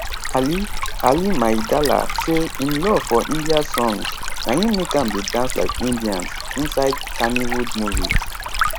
ali ali maidala say im love for india songs na im make am dey dance like indians inside kannywood movies